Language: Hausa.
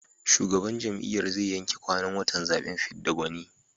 Shugaban jam'iyyar zai yanke kwanan watan zaɓen fidda gwani.